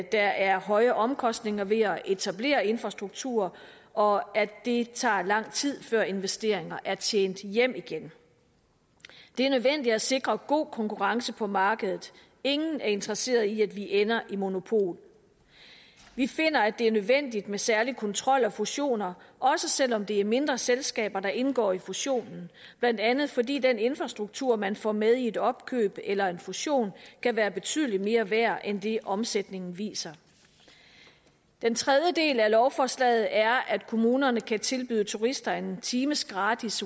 er høje omkostninger ved at etablere infrastruktur og at det tager lang tid før investeringer er tjent hjem igen det er nødvendigt at sikre god konkurrence på markedet ingen er interesseret i at vi ender med monopol vi finder det er nødvendigt med særlig kontrol af fusioner også selv om det er mindre selskaber der indgår i fusionen blandt andet fordi den infrastruktur man får med i et opkøb eller en fusion kan være betydelig mere værd end det omsætningen viser den tredje del af lovforslaget er at kommunerne kan tilbyde turister en times gratis